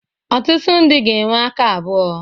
Ọtụtụ ndị ga-enwe aka abụọ.